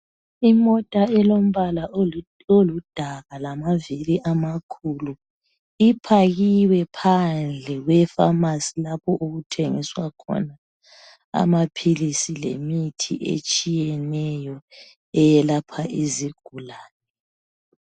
Imota elombala oludaka lama vili amakhulu ipakiwe phandle kwefamasi lapha okuthengiswa khona amaphilisi lemithi etshiyeneyo eyelapha izigulane.